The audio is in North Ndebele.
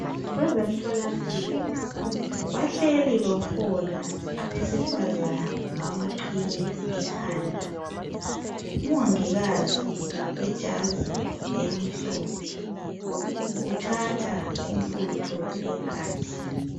Abezemtholampilo bahleli bafola abesifazana balamaqhiye ekhanda umongikazi wejazi elimhlophe uthatha umfutho wegazi.